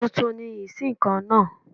Tuntun ni ìṣíǹkan náà